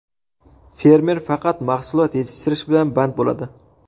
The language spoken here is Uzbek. Fermer faqat mahsulot yetishtirish bilan band bo‘ladi.